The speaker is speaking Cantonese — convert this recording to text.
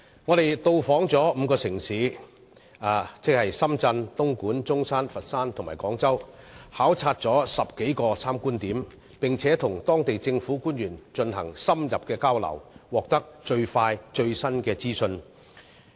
我們到訪5個城市，即深圳、東莞、中山、佛山和廣州，到過10多個參觀點考察，並與當地政府官員進行深入交流，獲得最快最新的資訊。